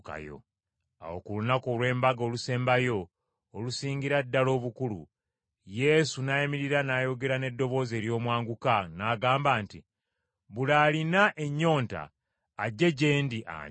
Awo ku lunaku olw’embaga olusembayo, olusingira ddala obukulu, Yesu n’ayimirira n’ayogera n’eddoboozi ery’omwanguka n’agamba nti, “Buli alina ennyonta, ajje gye ndi anywe!